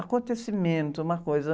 Acontecimento, uma coisa.